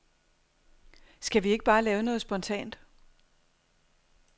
Skal vi ikke bare lave noget spontant.